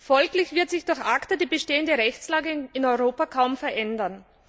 Folglich wird sich durch ACTA die bestehende Rechtslage in Europa kaum verändern.